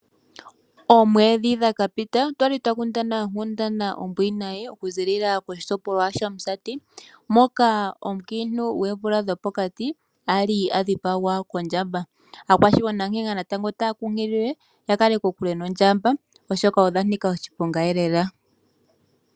Oomwedhi dha ka pita otwa li twa kundana onkundana ombwinayi okuzilila koshitopolwa shOmusati moka omukiintu gwoomvula dhopokati ali a dhipagwa kondjamba. Aakwashigwana na tango otaya kunkililwa ya kale kokule noondjamba oshoka odha nika oshiponga lela.